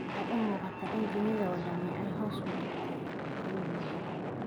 Waxay u muuqataa in dunida oo dhami ay hoos u dhigtay, ayuu yidhi.